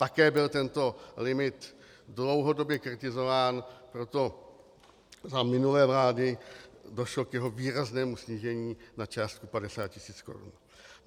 Také byl tento limit dlouhodobě kritizován, proto za minulé vlády došlo k jeho výraznému snížení na částku 50 tisíc korun.